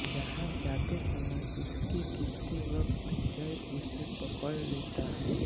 जहाँ जाते समय उसके गिरते वक्त जय उसे पकड़ लेता है